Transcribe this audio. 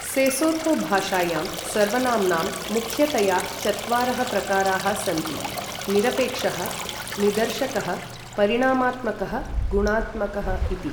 Sesotho भाषायां सर्वनाम्नां मुख्यतया चत्वारः प्रकाराः सन्ति निरपेक्षः, निदर्शकः, परिमाणात्मकः, गुणात्मकः इति।